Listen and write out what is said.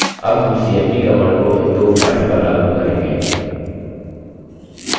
अब हम cmp command को इन दो files पर लागू करेंगे